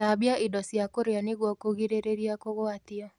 Thambia indo cia kũrĩa nĩguo kũgiririra kũgwatio